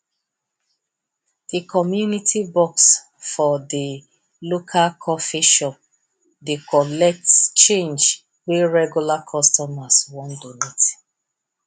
di community box for di local coffee shop dey collects change wey regular customers wey donate